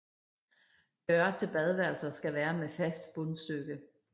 Døre til badeværelser skal være med fast bundstykke